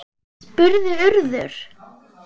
spurði Urður.